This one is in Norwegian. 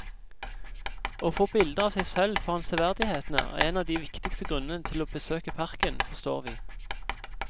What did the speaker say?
Å få bilder av seg selv foran severdighetene er en av de viktigste grunnene til å besøke parken, forstår vi.